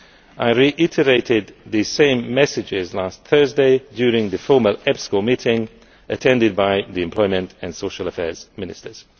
I reiterated the same messages last Thursday during the formal EPSCO meeting attended by the Employment and Social Affairs Ministers.